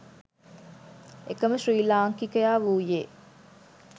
එකම ශ්‍රී ලාංකිකයා වූයේ